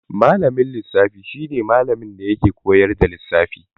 Malamin lissafi shi ne malamin da yake koyar da lissafi.